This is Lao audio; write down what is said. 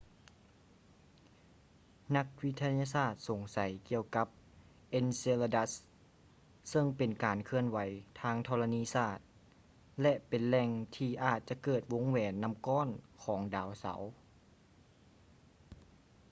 ນັກວິທະຍາສາດສົງໄສກ່ຽວກັບ enceladus ເຊິ່ງເປັນການເຄື່ອນໄຫວທາງທໍລະນີສາດ ແລະ ເປັນແຫຼ່ງທີ່ອາດຈະເກີດວົງແຫວນນໍ້າກ້ອນຂອງດາວເສົາ